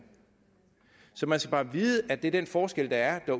så man skal vide at det er den forskel der er